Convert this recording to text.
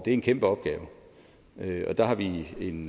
er en kæmpe opgave og der har vi en